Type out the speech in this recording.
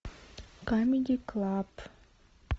камеди клаб